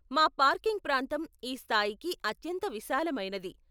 మా పార్కింగ్ ప్రాంతం ఈ స్థాయికి అత్యంత విశాలమైనది.